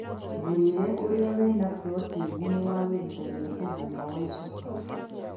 Mũrĩre ũrĩa wĩna proteini nĩwagirithagia ũgima wa icoka